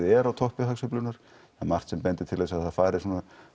er á toppi hagsveiflunnar það er margt sem bendir til þess að það fari svona